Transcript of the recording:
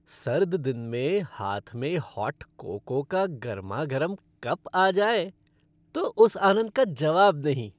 सर्द दिन में हाथ में हॉट कोको का गर्मागरम कप आ जाए तो उस आनंद का जवाब नहीं।